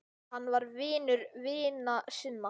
Hann var vinur vina sinna.